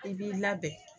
I b'i labɛn